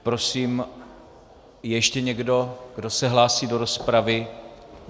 Prosím, je ještě někdo, kdo se hlásí do rozpravy?